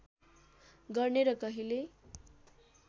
गर्ने र कहिल्यै